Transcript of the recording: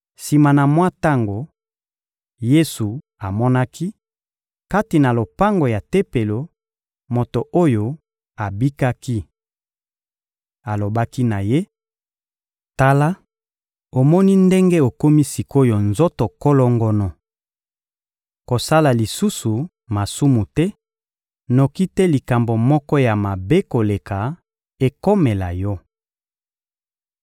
Sima na mwa tango, Yesu amonaki, kati na lopango ya Tempelo, moto oyo abikaki. Alobaki na ye: — Tala, omoni ndenge okomi sik’oyo nzoto kolongono. Kosala lisusu masumu te, noki te likambo moko ya mabe koleka ekomela yo.